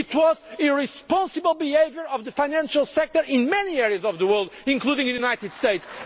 it was the irresponsible behaviour of the financial sectors in many areas of the world, including the United States.